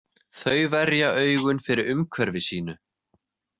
Þau verja augun fyrir umhverfi sínu.